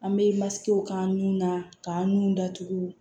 An bɛ masigiw k'an nun na k'an nun datugu